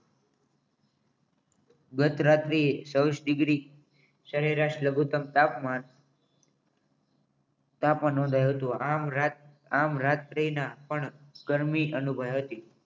ગત રાત્રીએ ચોવિસ ડિગ્રી સરેરાશ લઘુત્તમ તાપમાન તાપમાન નોંધાયો હતો આમ રાત્રિના પણ ગરમી અનુભવી હતી